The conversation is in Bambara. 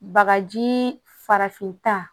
Bagaji farafinta